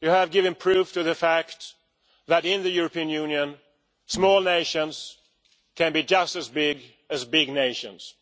They have given proof of the fact that in the European Union small nations can be just as big as big nations